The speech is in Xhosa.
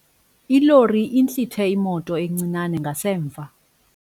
Ilori intlithe imoto encinane ngasemva.